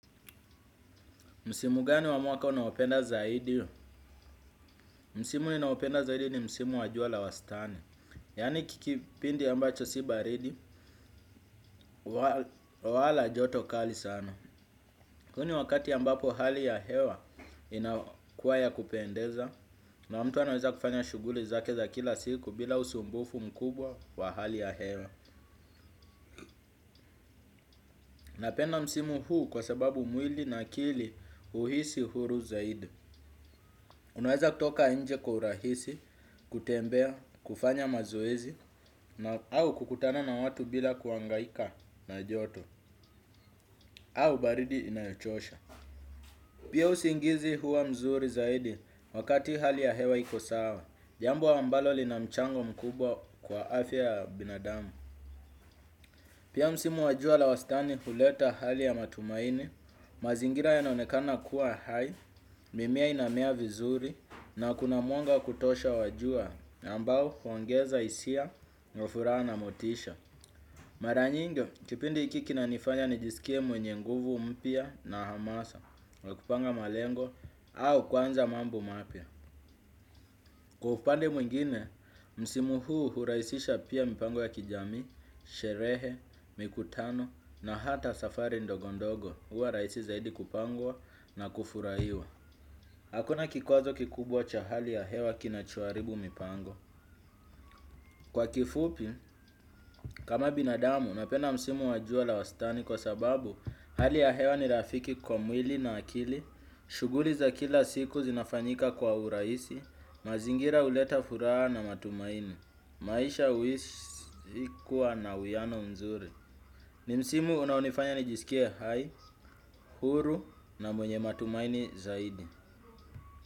Msimu gani wa mwaka unaopenda zaidi? Msimu ninaopenda zaidi ni msimu wa jua la wastani. Yani kipindi ambacho si baridi, wala joto kali sana. Huu ni wakati ambapo hali ya hewa inakuwa ya kupendeza. Na mtu anaweza kufanya shughuli zake za kila siku bila usumbufu mkubwa wa hali ya hewa. Napenda msimu huu kwa sababu mwili na akili huhisi uhuru zaidi. Unaweza kutoka nje kwa urahisi, kutembea, kufanya mazoezi, au kukutana na watu bila kuangaika na joto, au baridi inayochosha. Pia usingizi huwa mzuri zaidi wakati hali ya hewa iko sawa, jambo ambalo lina mchango mkubwa kwa afya ya binadamu. Pia msimu wa jua la wasitani huleta hali ya matumaini, mazingira ya naonekana kuwa hai, mimea inamea vizuri na kuna mwanga wa kutosha wa jua ambao huongeza hisia, furaha na motisha. Mara nyingi, kipindi hiki kinanifanya nijisikie mwenye nguvu mpya na hamasa, ya kupanga malengo au kuanza mambo mapya. Kwa upande mwingine, msimu huu hurahisisha pia mipango ya kijamii, sherehe, mikutano na hata safari ndogondogo huwa rahisi zaidi kupangwa na kufurahiwa. Hakuna kikwazo kikubwa cha hali ya hewa kinachoharibu mipango. Kwa kifupi, kama binadamu napenda msimu wa jua la wastani kwa sababu hali ya hewa ni rafiki kwa mwili na akili, shughuli za kila siku zinafanyika kwa urahisi. Mazingira huleta furaha na matumaini. Maisha huhisi kuwa na uwiano mzuri. Ni msimu unaonifanya nijisikie hai, huru na mwenye matumaini zaidi.